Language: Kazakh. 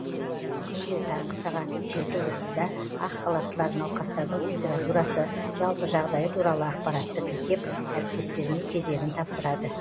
күнде таңғы сағат жеті отызда ақ халаттылар науқастардың температурасы жалпы жағдайы туралы ақпаратты тіркеп әріптестеріне кезегін тапсырады